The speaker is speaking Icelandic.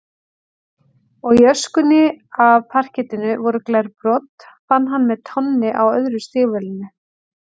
Og í öskunni af parkettinu voru glerbrot, fann hann með tánni á öðru stígvélinu.